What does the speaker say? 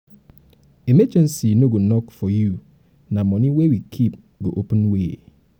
emergency no go knock for you na money wey we keep go open way.